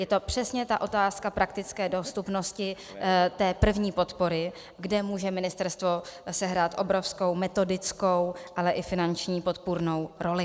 Je to přesně ta otázka praktické dostupnosti té první podpory, kde může ministerstvo sehrát obrovskou metodickou, ale i finanční podpůrnou roli.